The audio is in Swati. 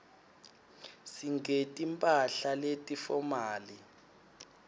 singeti mphahla leti fomali